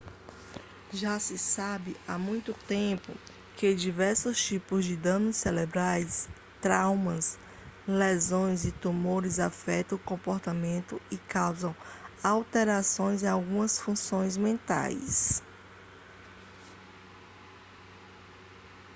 já se sabe há muito tempo que diversos tipos de danos cerebrais traumas lesões e tumores afetam o comportamento e causam alterações em algumas funções mentais